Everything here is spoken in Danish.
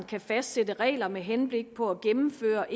til at fastsætte regler med henblik på at gennemføre